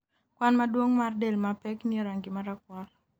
kwan maduong' mar del mapek nie range marakwar.